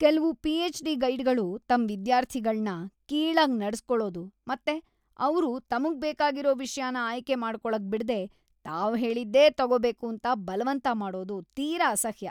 ಕೆಲ್ವು ಪಿಎಚ್.ಡಿ. ಗೈಡ್‌ಗಳು ತಮ್ ವಿದ್ಯಾರ್ಥಿಗಳ್ನ ಕೀಳಾಗ್‌ ನಡ್ಸ್‌ಕೊಳದು ಮತ್ತೆ ಅವ್ರು ತಮ್ಗ್‌ ಬೇಕಾಗಿರೋ ವಿಷ್ಯನ ಆಯ್ಕೆ ಮಾಡ್ಕೊಳಕ್‌ ಬಿಡ್ದೇ ತಾವ್‌ ಹೇಳಿದ್ದೇ ತಗೊಬೇಕೂಂತ ಬಲ್ವಂತ ಮಾಡೋದು ತೀರ ಅಸಹ್ಯ.